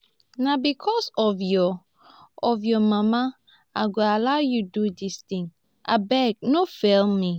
na because of your of your mama i go allow you do dis thing abeg no fail me